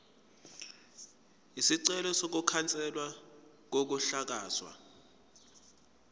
isicelo sokukhanselwa kokuhlakazwa